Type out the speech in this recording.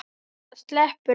Það sleppur þó.